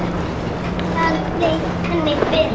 Þar leið henni vel.